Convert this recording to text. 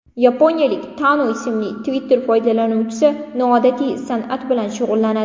Yaponiyalik Tanu ismli Twitter foydalanuvchisi noodatiy san’at bilan shug‘ullanadi.